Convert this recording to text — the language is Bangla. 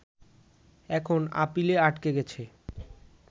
এখন আপিলে আটকে গেছে